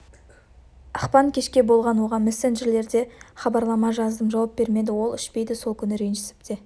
ақпан кешке болған оған мессенджерде хабарлама жаздым жауап бермеді ол ішпейді сол күні ренжісіп те